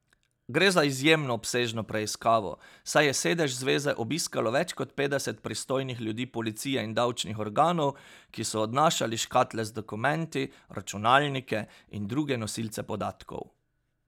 Gre za izjemno obsežno preiskavo, saj je sedež zveze obiskalo več kot petdeset pristojnih ljudi policije in davčnih organov, ki so odnašali škatle z dokumenti, računalnike in druge nosilce podatkov.